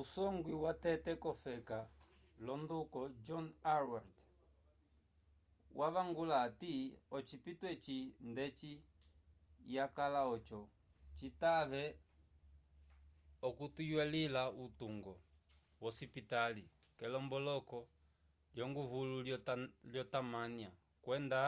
usogwi watete vofeka l’onduko john howard wavangula ati ocipito eci ndeci yakala oco citave okuteywila utungo wosipitali k’elomboloko lyonguvulu lyo tamânia okwenda